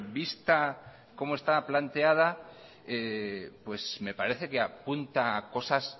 vista como está planteada pues me parece que apunta a cosas